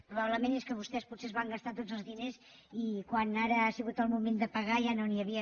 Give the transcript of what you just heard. probablement és que vostès potser es van gastar tots els diners i quan ara ha sigut el moment de pagar ja no n’hi havien